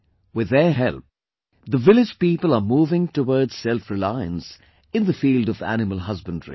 With their help, the village people are moving towards selfreliance in the field of animal husbandry